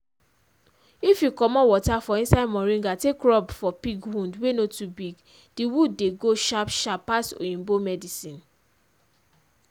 if u commot water for inside moringa take rub for pig wound wey no to big d wound dey go sharp sharp pass oyibo medicine.